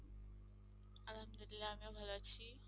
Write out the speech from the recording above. আলহামদুলিল্লাহ আমিও ভাল আছি।